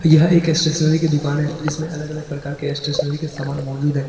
यह एक स्टेशनरी की दुकान है जिसमें अलग अलग प्रकार के स्टेशनरी के समान मौजूद है।